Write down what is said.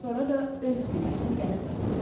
Sonra da öz günəşini gəlib tapacaq.